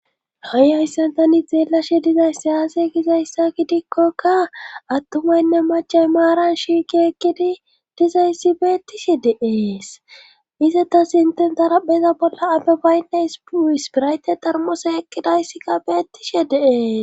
ha7i hayssa tani xeelashe dizay sayaase gizayssa gidikkokka attumaynne macha maaran shiiki ekkidi dizayssi beettishe deees iza tasinten tarabeza bolla ado baynne sispirayte tarmose ekkidayssikka beettishe deees